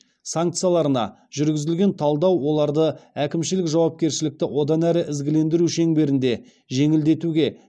санкцияларына жүргізілген талдау оларды әкімшілік жауапкершілікті одан әрі ізгілендіру шеңберінде жеңілдетуге